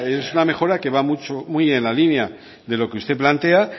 es una mejora que va muy en la línea de lo que usted plantea